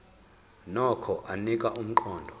nokho anika umqondo